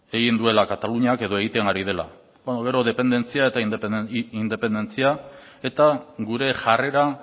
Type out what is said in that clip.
egin duela kataluniak edo egiten ari dela beno gero dependentzia eta independentzia eta gure jarrera